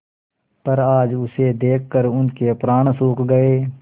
पर आज उसे देखकर उनके प्राण सूख गये